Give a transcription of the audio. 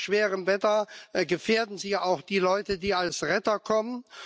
Bei schweren Wetterbedingungen gefährden sie auch die Leute, die als Retter kommen.